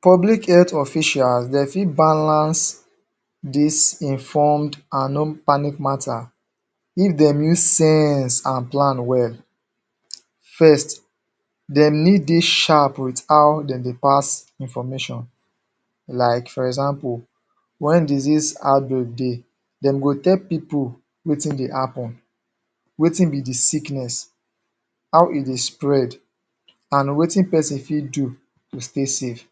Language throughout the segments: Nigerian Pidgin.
Public health official dem fit balance dis informed and non-panic matter if dem use sense and plan well First, dem need dey sharp wit how dem dey pass information like for example wen disease outbreak dey, dem go tell pipu wetin dey happen wetin be di sickness, how e dey spread and wetin pesin fit do to stay safe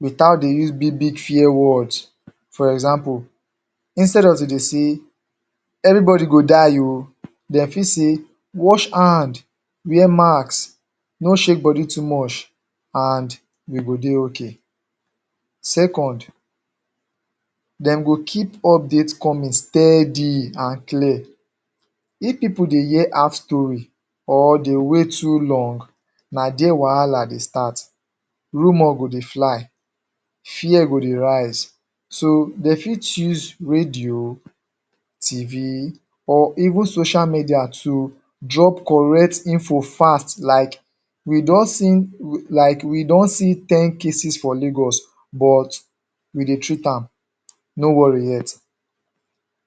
without dey use big big fear words, for example instead of to de say: "Everybodi go die o", dem fit say: "Wash hand", "Wear mask" "No shake bodi too much" and "We go dey OK". Second, dem go keep update coming steady and clear If pipu dey hear half story or dey wait too long, na dia wahala dey start. Rumor go dey fly fear go dey rise. So dem fit use radio TV, or even social media to drop correct info fast like "We don see like we don see ten cases for Lagos" but we dey treat am, "No worry yet"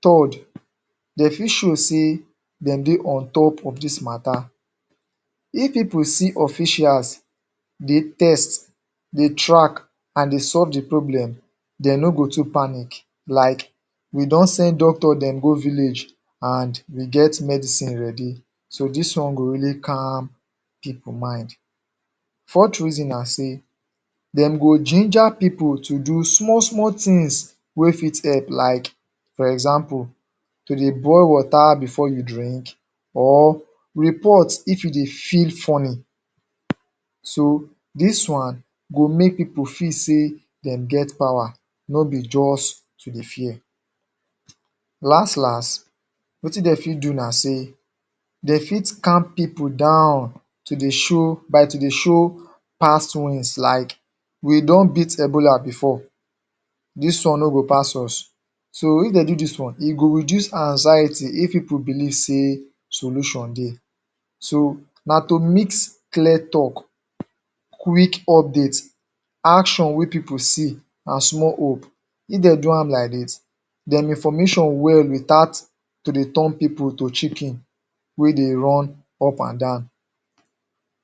Third, dem fit show sey dem dey on top of dis matter If pipu see officials dey test, dey track, and dey solve di problem, dem no go too panic like: "We don send doctor dem go village" and "We get medicine ready" So dis one go really calm pipu mind Fourth reason na say dem go ginger pipu to do small small tins wey fit help like for example like to dey boil water bifor you drink or report if you dey feel funny So, dis one go make pipu feel sey dem get power, no be just to dey fear Last last, wetin dem fit do na sey dem fit calm pipu down to dey show by to dey show past wins like; "We don beat ebola bifor" "Dis one no go pass us". So if dem do dis one, e go reduce anxiety if pipu believe sey solution dey So, na to mix clear tok, quick update action wey pipu see, and small hope. If dem do am like dis dem information well without to dey turn pipu to chicken wey de run up and down.